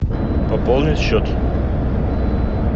пополнить счет